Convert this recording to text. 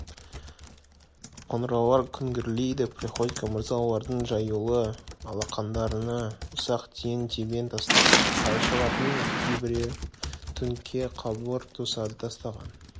қоңыраулар күңгірлейді приходько мырза олардың жаюлы алақандарына ұсақ тиын-тебен тастайды қайыршылардың кейбірі түңке қалбыр тосады тастаған